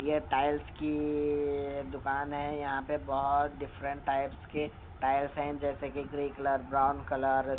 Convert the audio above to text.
यह टाइल्स की दुकान है यहां पे बहुत डिफरेंट टाइप्स के टाइल्स हैं जैसे कि ग्रे कलर ब्राउन कलर ।